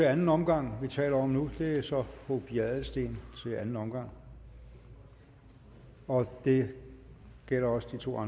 anden omgang vi taler om nu det er så fru pia adelsteen til anden omgang og det gælder også de to